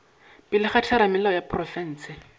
pele ga theramelao ya profense